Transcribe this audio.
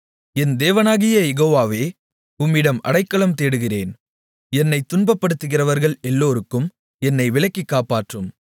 என் தேவனாகிய யெகோவாவே உம்மிடம் அடைக்கலம் தேடுகிறேன் என்னைத் துன்பப்படுத்துகிறவர்கள் எல்லோருக்கும் என்னை விலக்கி காப்பாற்றும்